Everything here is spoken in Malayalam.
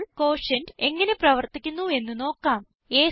ഇപ്പോൾ ക്യൂട്ടിയന്റ് എങ്ങനെ പ്രവർത്തിക്കുന്നു എന്ന് നോക്കാം